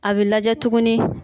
A bɛ lajɛ tuguni.